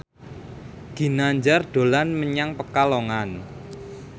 Ginanjar dolan menyang Pekalongan